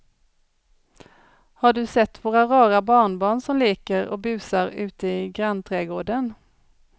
Har du sett våra rara barnbarn som leker och busar ute i grannträdgården!